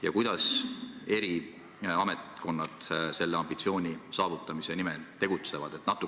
Ja kuidas eri ametkonnad selle ambitsiooni saavutamise nimel tegutsevad?